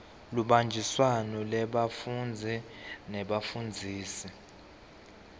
lubanjiswano lwebafundzi nebafundzisi